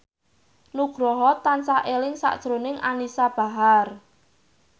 Nugroho tansah eling sakjroning Anisa Bahar